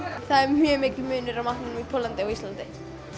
það er mjög mikill munur á matnum í Póllandi og á Íslandi